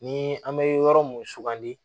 Ni an bɛ yɔrɔ mun sugandi